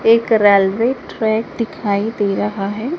एक railway track दिखाई दे रहा है।